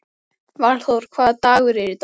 Valþór, hvaða dagur er í dag?